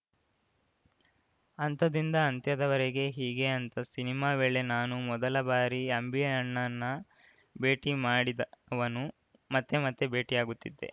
ಅಂತದಿಂದ ಅಂತ್ಯದವರೆಗೆ ಹೀಗೆ ಅಂತ ಸಿನಿಮಾ ವೇಳೆ ನಾನು ಮೊದಲ ಬಾರಿ ಅಂಬಿ ಅಣ್ಣನ್ನ ಭೇಟಿ ಮಾಡಿದವನು ಮತ್ತೆ ಮತ್ತೆ ಭೇಟಿಯಾಗುತ್ತಿದ್ದೆ